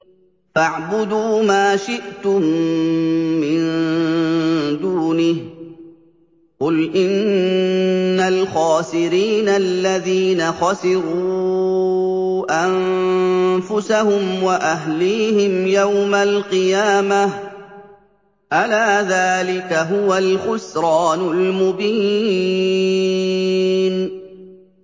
فَاعْبُدُوا مَا شِئْتُم مِّن دُونِهِ ۗ قُلْ إِنَّ الْخَاسِرِينَ الَّذِينَ خَسِرُوا أَنفُسَهُمْ وَأَهْلِيهِمْ يَوْمَ الْقِيَامَةِ ۗ أَلَا ذَٰلِكَ هُوَ الْخُسْرَانُ الْمُبِينُ